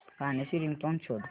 गाण्याची रिंगटोन शोध